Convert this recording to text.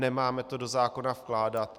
Nemáme to do zákona vkládat.